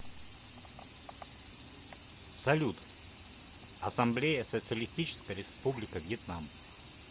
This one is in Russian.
салют ассамблея социалистическая республика вьетнам